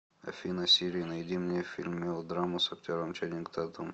афина сири найди мне фильм мелодраму с актером ченинг татум